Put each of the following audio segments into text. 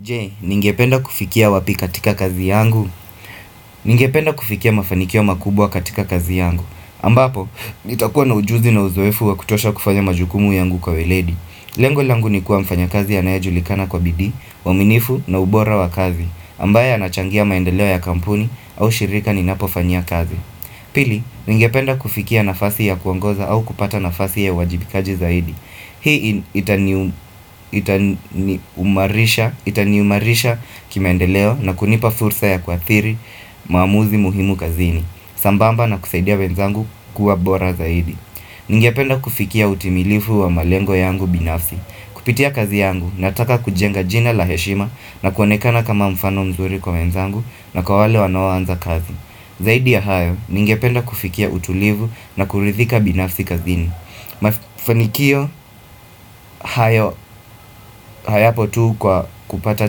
Je, ningependa kufikia wapi katika kazi yangu? Ningependa kufikia mafanikio makubwa katika kazi yangu. Ambapo, nitakuwa na ujuzi na uzoefu wa kutosha kufanya majukumu yangu kwa weledi. Lengo langu ni kuwa mfanya kazi ya naeju likana kwa bidi, waminifu na ubora wa kazi. Ambaya anachangia maendeleo ya kampuni au shirika ni napofanyia kazi. Pili, ningependa kufikia nafasi ya kuangoza au kupata nafasi ya wajibikaji zaidi. Hii itani umarisha kimaendeleo na kunipa fursa ya kwa thiri maamuzi muhimu kazini sambamba na kusaidia wenzangu kuwa bora zaidi Ningependa kufikia utimilifu wa malengo yangu binafsi Kupitia kazi yangu na ataka kujenga jina laheshima na kuonekana kama mfano mzuri kwa wenzangu na kwa wale wanawanza kazi Zaidi ya hayo ningependa kufikia utulifu na kuridhika binafsi kazini Mafanikio hayo hayapo tuu kwa kupata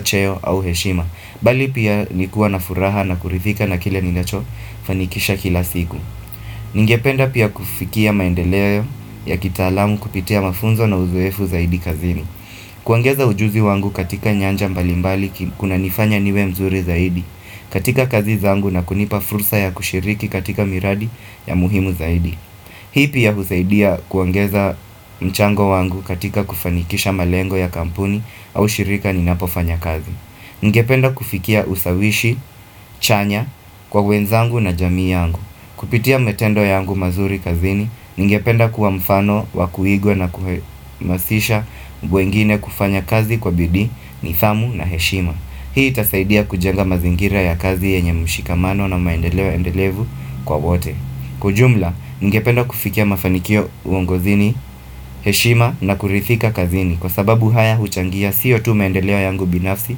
cheo au heshima, Bali pia nikua na furaha na kurithika na kile ni nacho fanikisha kila siku Ningependa pia kufikia maendeleo ya kitaalamu kupitia mafunzo na uzuefu zaidi kazini kuangeza ujuzi wangu katika nyanja mbalimbali kuna nifanya niwe mzuri zaidi katika kazi zaangu na kunipa fursa ya kushiriki katika miradi ya muhimu zaidi Hii pia husaidia kuongeza mchango wangu katika kufanikisha malengo ya kampuni au shirika ni napofanya kazi. Ngependa kufikia usawishi, chanya kwa wenzangu na jamii yangu. Kupitia metendo yangu mazuri kazini, ngependa kuwa mfano, wakuigwe na kumasisha mbwengine kufanya kazi kwa bidi, nithamu na heshima. Hii tasaidia kujenga mazingira ya kazi yenye mshikamano na maendelewa endelevu kwa wote. Kujumla, ngependo kufikia mafanikio uongo zini, heshima na kurithika kazini Kwa sababu haya huchangia siyo tu maendelewa yangu binafsi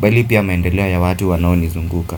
Balipia maendelewa ya watu wanaoni zunguka.